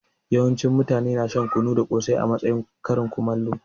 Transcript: Yawancin mutane na shan kunu da kosai a matsayin karin kumallo.